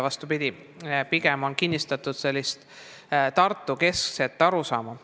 Vastupidi: pigem on kinnistatud sellist Tartu-keskset arusaama.